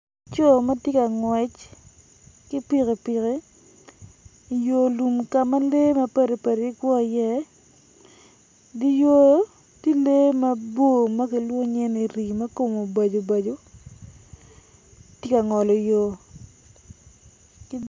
Laco ma tye ka ngwec ki pikipiki I yo lum ka ma lee mpadi padi gikwo iye idye yo tye lee mabor ma kilwongo nyinge rii ma kome obaco obaco tye ka ngolo yo.